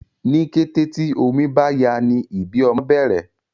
ní kété tí omí bá yá ní ibí ọmọ bèrè